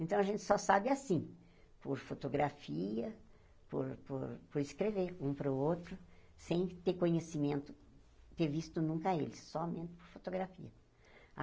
Então, a gente só sabe assim, por fotografia, por por escrever um para o outro, sem ter conhecimento, ter visto nunca eles, somente por fotografia.